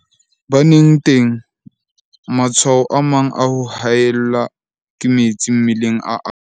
Baneng teng, matshwao a mang a ho haellwa ke metsi mmeleng a akga.